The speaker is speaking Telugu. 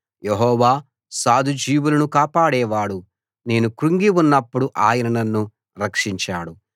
యెహోవా సాధుజీవులను కాపాడేవాడు నేను క్రుంగి ఉన్నప్పుడు ఆయన నన్ను రక్షించాడు